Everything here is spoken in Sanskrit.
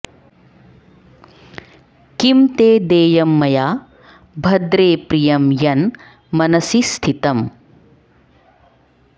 किं ते देयं मया भद्रे प्रियं यन् मनसि स्थितम्